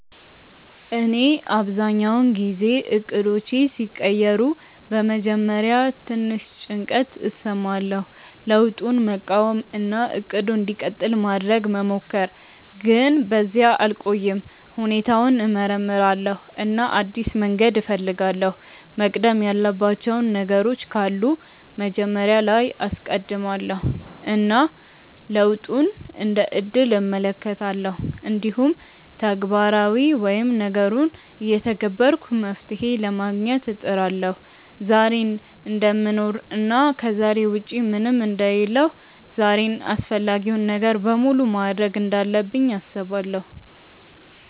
እኔ አብዛኛውን ጊዜ እቅዶቼ ሲቀየሩ በመጀመሪያ ትንሽ ጭንቀት እሰማለሁ፣ ለውጡን መቃወም እና “እቅዱ እንዲቀጥል” ማድረግ መሞከር፣ ግን በዚያ አልቆይም። ሁኔታውን እመርምራለሁ እና አዲስ መንገድ እፈልጋለሁ፤ መቅደም ያለባቸው ነገሮች ካሉ መጀመሪያ ላይ አስቀድማለው እና ለውጡን እንደ እድል እመለከታለሁ። እንዲሁም ተግባራዊ ወይም ነገሩን እየተገበርኩ መፍትሄ ለማግኘት እጥራለሁ። ዛሬን እደምኖር እና ከዛሬ ውጪ ምንም አንደ ሌለሁ ዛሬን አፈላጊውን ነገር በሙሉ ማድርግ እንዳለብኝ አስባለው።